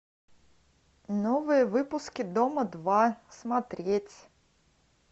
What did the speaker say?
новые выпуски дома два смотреть